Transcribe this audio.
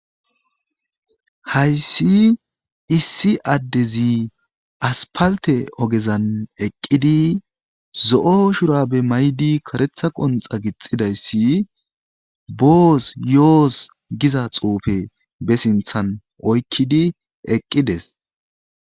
hayssi issi addezi aspalte ogezan eqqidi zo7o shura be maydi karetha qonxa gixxidayssi boos yoos giza xuufe be sinthan oykkidi eqqides